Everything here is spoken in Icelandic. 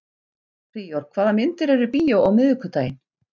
Príor, hvaða myndir eru í bíó á miðvikudaginn?